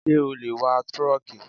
Ṣé o lè wa trọ́ọ́kì?